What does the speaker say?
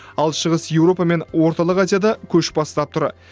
ал шығыс еуропа мен орталық азияда көш бастап тұр